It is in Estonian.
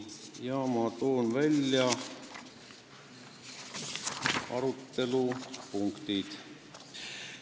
Toon nüüd välja selle arutelu põhipunktid.